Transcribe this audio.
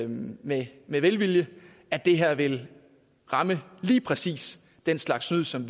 med velvilje at det her vil ramme lige præcis den slags snyd som